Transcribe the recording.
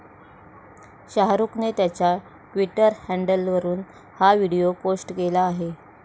शाहरुखने त्याच्या ट्वीटर हँडलवरून हा व्हिडीओ पोस्ट केला आहे.